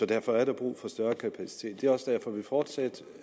derfor er der brug for større kapacitet det er også derfor vi fortsat